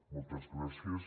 moltes gràcies